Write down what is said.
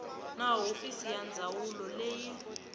na hofisi ya ndzawulo leyi